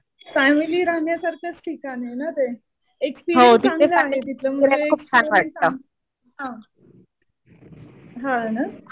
Family राहण्यासारखंच ठिकाण आहे ना ते. एक्सपीरियन्स चांगला आहे तिथे म्हणजे हा. हा ना.